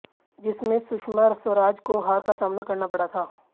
जिसमें सुषमा स्वराज को हार का सामना करना पड़ा था